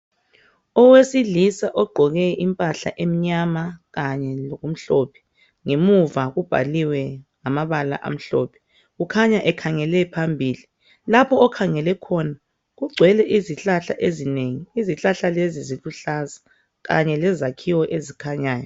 Owesilisa ogqoke impahla emnyama kanye lokumhlophe emuva ubhalwe ngamabala amhlophe . Kukhanya ekhangele phambili. Lapho okhangele khona kugcwele izihlahla ezinengi. Izihlahla lezi ziluhlaza kanye lezakhiwo ezikhanyayo.